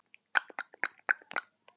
Telma: Og varst þú feginn?